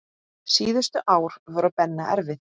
Síðustu ár voru Benna erfið.